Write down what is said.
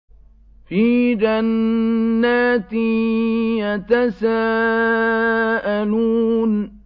فِي جَنَّاتٍ يَتَسَاءَلُونَ